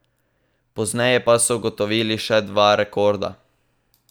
Pozneje pa so ugotovili še dva rekorda.